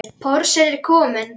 Porsinn er kominn.